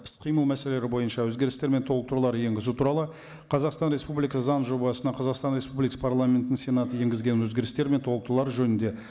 іс қимыл мәселелері бойынша өзгерістер мен толықтырулар енгізу туралы қазақстан республикасы заң жобасына қазақстан республикасы парламентінің сенаты енгізген өзгерістер мен толықтырулар жөнінде